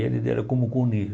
E eles deram como comunismo.